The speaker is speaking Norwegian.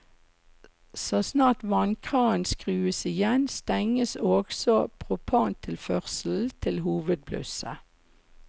Så snart vannkranen skrus igjen, stenges også propantilførselen til hovedblusset.